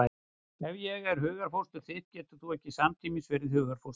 Ef ég er hugarfóstur þitt getur þú ekki samtímis verið hugarfóstur mitt.